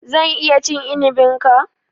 Zan iya cin inibin ka?